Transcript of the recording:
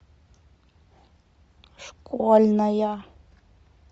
школьная